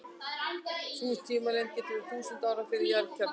Sú tímalengd gæti verið þúsundir ára fyrir jarðkjarnann.